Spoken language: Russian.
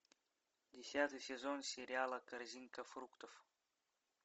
десятый сезон сериала корзинка фруктов